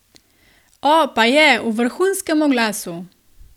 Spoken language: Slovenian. O, pa je, v vrhunskem oglasu!